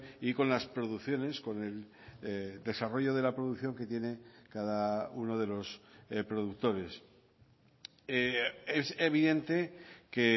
y con las producciones con el desarrollo de la producción que tiene cada uno de los productores es evidente que